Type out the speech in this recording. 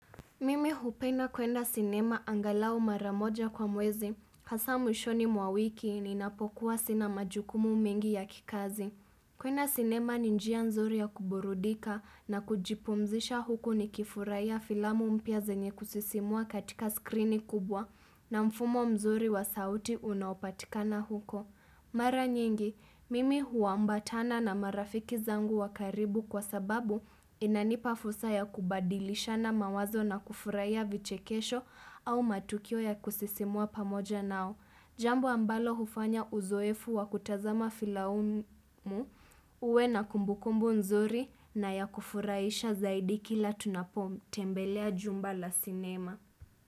Mimi hupenda kwenda sinema angalao mara moja kwa mwezi, hasa mwishoni mwawiki ninapokuwa sina majukumu mengi ya kikazi. Kwenda sinema ni njia nzuri ya kuburudika na kujipumzisha huku ni kifurahia filamu mpya zenye kusisimua katika skrini kubwa na mfumo mzuri wa sauti unaopatikana huko. Mara nyingi, mimi huambatana na marafiki zangu wakaribu kwa sababu inanipa fulsa ya kubadilisha na mawazo na kufurahia vichekesho au matukio ya kusisimua pamoja nao. Jambo ambalo hufanya uzoefu wa kutazama filaumu, uwe na kumbukumbu nzuri na ya kufurahisha zaidi kila tunapomu tembelea jumba la sinema.